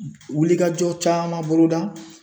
Wulikajɔ caman boloda.